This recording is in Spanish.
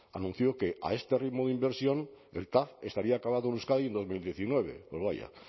anunció que a este ritmo de inversión el tav estaría acabado en euskadi en dos mil diecinueve pues vaya